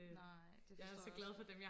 nej det forstår jeg også